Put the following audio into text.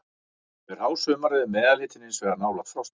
Yfir hásumarið er meðalhitinn hins vegar nálægt frostmarki.